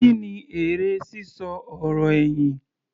Kí ni èrè sísọ ọ̀rọ̀ ẹ̀yìn?